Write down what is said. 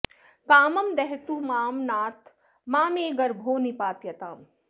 कामं दहतु मां नाथ मा मे गर्भो निपात्यताम्